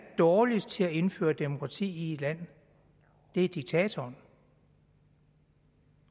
dårligst til at indføre demokrati i et land er diktatoren